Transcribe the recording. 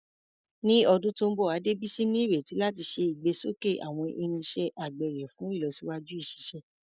Ní ọdún tó ń bọ̀, Adebisi ní ìrètí láti ṣe ìgbésókè àwọn irinṣẹ́ àgbẹ̀ rẹ̀ fún ìlọsíwájú ìṣiṣẹ́.